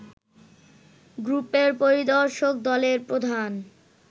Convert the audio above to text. গ্রুপের পরিদর্শক দলের প্রধান